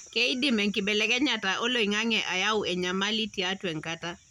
keidim enkibelekenyata oloingange ayau enyamali tiatua enkata